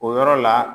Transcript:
O yɔrɔ la